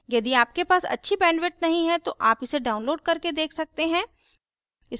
यदि आपके पास अच्छी bandwidth नहीं है तो आप इसे download करके देख सकते हैं